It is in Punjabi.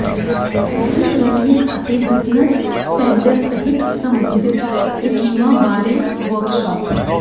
ਐਗਰੀ ਕਲੀਨਿਕ ਅਤੇ ਬਿਜ਼ਨਸ ਸੈਂਟਰ ਤਹਿਤ ਸਬਸਿਡੀ ਸਕੀਮਾਂ ਬਾਰੇ ਵਰਕਸ਼ਾਪ